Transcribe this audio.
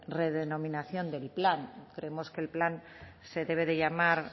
redenominación del plan creemos que el plan se debe de llamar